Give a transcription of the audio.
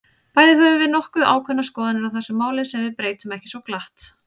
Bæði höfum við nokkuð ákveðnar skoðanir á þessu máli, sem við breytum ekki svo glatt.